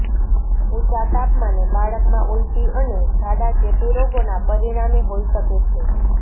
ઊંચા તાપમાને બાળકમાં ઉલટી અને ઝાડા ચેપી રોગોના પરિણામે હોઈ શકે છે